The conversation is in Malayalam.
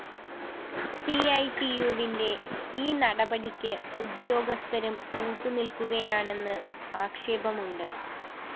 സിഐടിയുവിന്റെ ഈ നടപടിക്ക് ഉദ്യോഗസ്ഥരും കൂട്ട് നില്‍ക്കുകയാണെന്ന് ആക്ഷേപമുണ്ട്